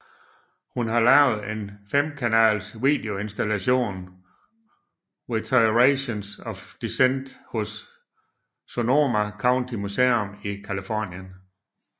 Hun har lavet en femkanals videoinstallation Reiterations of Dissent hos Sonoma County Museum i Californien